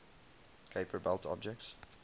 kuiper belt objects